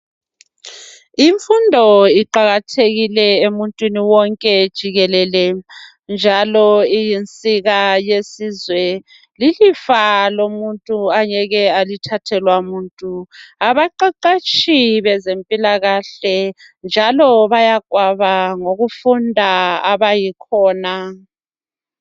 Imfundo iqakathekile emuntwini wonke jikelele, njalo iyinsika yesizwe. Lilifa lomuntu angeke alithathelwa muntu. Abaqeqeshi bezempilakahle njalo bayagwaba ngokufunda abayikhona.